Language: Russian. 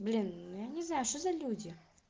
блин я не знаю что за люди